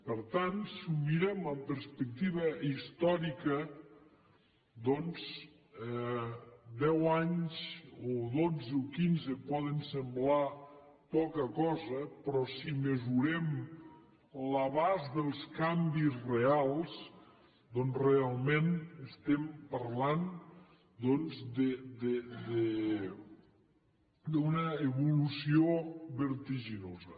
per tant si ho mirem amb perspectiva històrica doncs deu anys o dotze o quinze poden semblar poca cosa però si mesurem l’abast dels canvis reals realment estem parlant d’una evolució vertiginosa